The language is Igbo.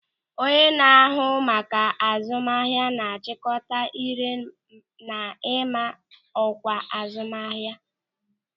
Onye na-ahụ maka azụmahịa na-achịkọta ị́ré na ịma ọkwa azụmahịa.